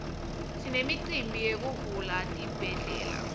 sinemicimbi yekuvula tibhedlela